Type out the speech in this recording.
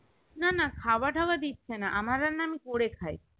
না না খাওয়া দাওয়া দিচ্ছেনা আমার রান্না আমি করে খাই